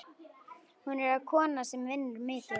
Hún er kona sem vinnur mikið.